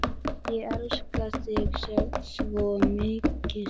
Ég elska þig svo mikið.